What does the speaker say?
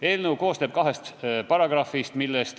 Eelnõu koosneb kahest paragrahvist.